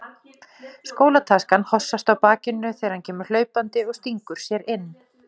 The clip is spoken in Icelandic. Skólataskan hossast á bakinu þegar hann kemur hlaupandi og stingur sér inn.